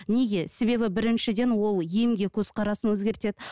неге себебі біріншіден ол емге көзқарасын өзгертеді